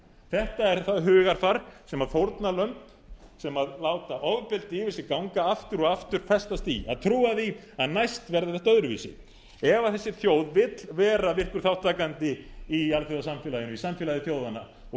þetta er það hugarfar sem fórnarlömb sem láta ofbeldi yfir sig ganga aftur og aftur festast í að trúa því að næst verði þetta öðruvísi ef þessi þjóð vill vera virkur þátttakandi í alþjóðasamfélaginu í samfélagi þjóðanna og